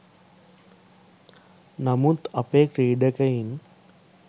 නමුත් අපේ ක්‍රීඩකයින්